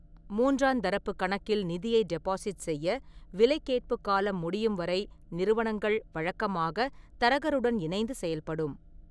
மூன்றாந் தரப்புக் கணக்கில் நிதியை டெபாசிட் செய்ய, விலை கேட்புக் காலம் முடியும் வரை நிறுவனங்கள் வழக்கமாக தரகருடன் இணைந்து செயல்படும்.